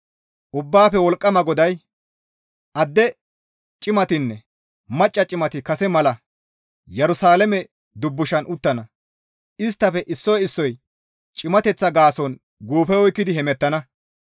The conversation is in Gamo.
Ubbaafe Wolqqama GODAY, «Adde cimatinne macca cimati kase mala Yerusalaame dubbushan uttana; isttafe issoy issoy cimateththa gaason guufe oykkidi hemettana.